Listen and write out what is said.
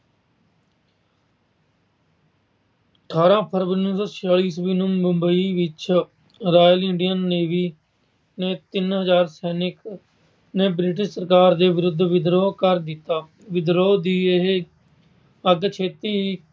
ਅਠਾਰਾਂ ਫਰਵਰੀ ਉਨੀ ਸੌ ਛਿਆਲੀ ਈਸਵੀ ਨੂੰ ਮੁੰਬਈ ਵਿੱਚ Royal Indian Navy ਨੇ ਵੀ ਤਿੰਨ ਹਜਾਰ ਸੈਨਿਕਾਂ ਨੇ British ਸਰਕਾਰ ਵਿਰੁੱਧ ਵਿਦਰੋਹ ਕਰ ਦਿੱਤਾ। ਵਿਦਰੋਹ ਦੀ ਇਹ ਅੱਗ ਛੇਤੀ ਹੀ